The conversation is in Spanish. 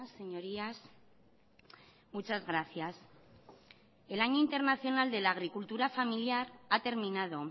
señorías muchas gracias el año internacional de la agricultura familiar ha terminado